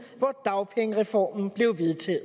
hvor dagpengereformen blev vedtaget